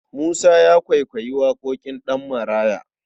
Musa ya kwaikwayi waƙoƙin Ɗanmaraya.